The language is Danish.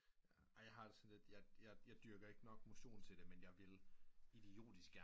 Ej jeg har det sådan lidt jeg dyrker ikke nok motion til det men jeg vil idiotisk gerne